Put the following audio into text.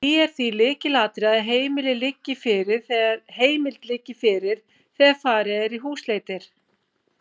Það er því lykilatriði að heimild liggi fyrir þegar farið er í húsleitir.